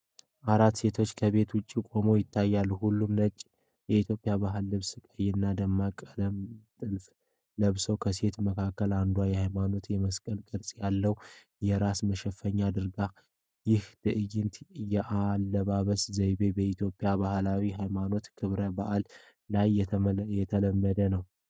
አራት ሴቶች ከቤት ውጭ ቆመው ያታያሉ። ሁሉም ነጭ የኢትዮጵያ ባህላዊ ልብስና ቀይና ደማቅ ቀለምያላቸው ጥልፎች ለብሰዋል። ከሴቶች መካከል አንዷ የሃይማኖት የመስቀል ቅርጽ ያለውን የራስ መሸፈኛ አድርጋለች። ይህ ዓይነቱ የአለባበስ ዘይቤ በኢትዮጵያ ባህላዊና ሃይማኖታዊ ክብረ በዓላት ላይ የተለመደ ነው?